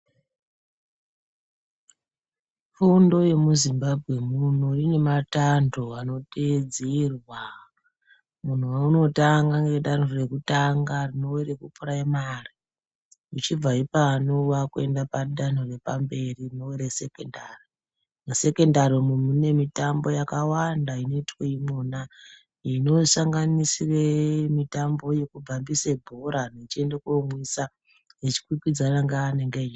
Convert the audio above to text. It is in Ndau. Fundo yemuZimbabwe muno ine matanho anoteedzerwa. Muntu unotanga nedanho rekutanga rinova repuraimari. Uchibva ipano wakuende padanho repamberi rinova resekondari. Resekondari iri rine mitambo yakawanda inoitwe imwona inosanganisira mitambo yekubhambise bhora vechindoomwisa vechikwikwidzana nevaanenge......